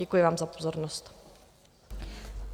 Děkuji vám za pozornost.